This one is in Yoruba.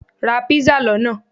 Ra pizza lona